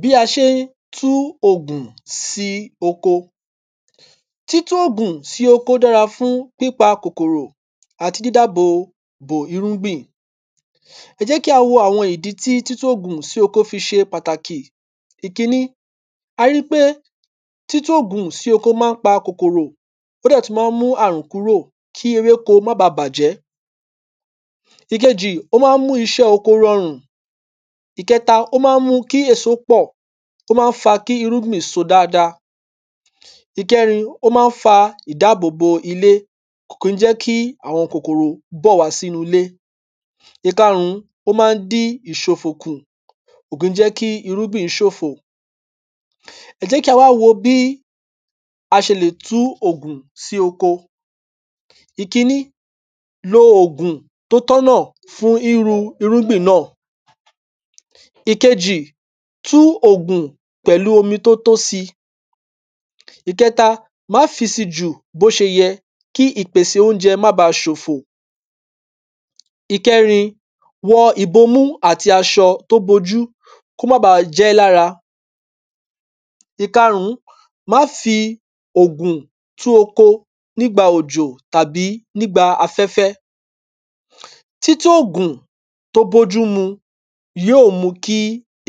bí a ṣe n tú ògùn sí oko títú ògùn sí oko dára fún pípa kòkòrò àti dídàbò bò irúngbìn ẹjẹ́kí a wó àwọn ìdí tí títú ògùn sí oko fi ṣe pàtàkì ìkíní a ri ípé títú ògùn sí oko má n pa kòkòrò ó dẹ̀ tú má n mú àrùn kúrò kí ewéko má ba bàjẹ́ ìkejì ó má n mú ìṣẹ́ oko rọrùn ìkẹta ó má n mú kí èso pọ̀ tó má n fa kí irúgbìn so dáadáa? ìkẹrin ó má n fa ìdábòbo ilé kò kí n jẹ́ kí àwọn kòkòrò bọ̀ wá sínu ilé ìkarun ó má n dí ìṣòfò kù kò kí n jẹ́ kí irúgbìn ṣòfò? ẹjẹ́kí a wá wo bí a ṣe lè tú ògùn sí oko ìkíní lo ògùn tó tọ́nà fún íru irúgbìn nà? ìkejì tú ògùn pẹ̀lú omi tó tó si? ìkẹta má fi si jù bó ṣe yẹ kí ìpese oúnjẹ ma ba ṣòfò ìkẹrin wọ ìbọmú àti aṣọ tó bọjú kó má ba jẹ́ lára ìkarun má fi ògùn tú oko nígba òjò tàbí nígba afẹ́fẹ́? títú ògùn tó bójú mu yó ò mú kí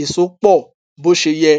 èso pọ̀ bó ṣe yẹ